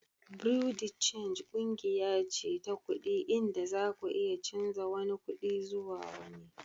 Bureau de change kungiya ce ta kudi inda zaku iya canza wani kudin zuwa wani.